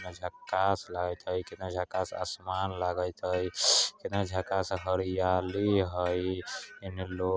केतना झक्कास लागैत हय केतना झक्कास समान लागेत हय केतना झक्कास आसमान लागत हय केतना झक्कास हरियाली हय इन्ने लो --